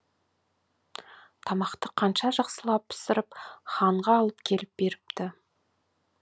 тамақты қанша жақсылап пісіріп ханға алып келіп беріпті